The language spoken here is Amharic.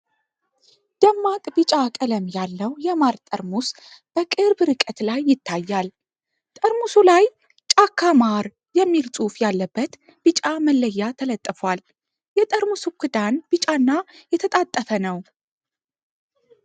ደማቅ ቢጫ ቀለም ያለው የማር ጠርሙስ በቅርብ ርቀት ላይ ይታያል። ጠርሙሱ ላይ "ጫካ ማር" የሚል ጽሑፍ ያለበት ቢጫ መለያ ተለጥፏል። የጠርሙሱ ክዳን ቢጫና የተጣጠፈ ነው።